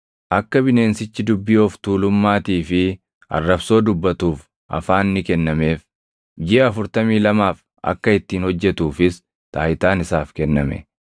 Akka bineensichi dubbii of tuulummaatii fi arrabsoo dubbatuuf afaan ni kennameef; jiʼa afurtamii lamaaf akka ittiin hojjetuufis taayitaan isaaf kenname.